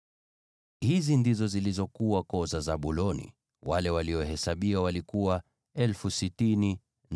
Hizi ndizo zilizokuwa koo za Zabuloni, wale waliohesabiwa walikuwa 60,500.